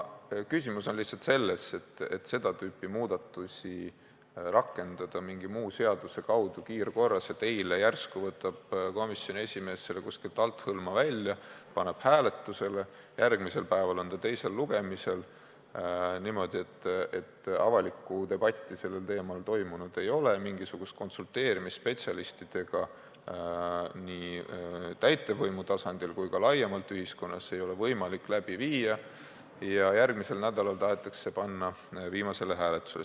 Küsimus on lihtsalt selles, et seda tüüpi muudatusi ei saa rakendada mingi muu seaduse kaudu kiirkorras, niimoodi, et eile järsku võtab komisjoni esimees selle kuskilt althõlma välja, paneb hääletusele, järgmisel päeval on ta teisel lugemisel – niimoodi, et avalikku debatti sellel teemal toimunud ei ole, mingisugust konsulteerimist spetsialistidega nii täitevvõimu tasandil kui ka laiemalt ühiskonnas ei ole võimalik korraldada –ja järgmisel nädalal tahetakse see panna juba viimasele hääletusele.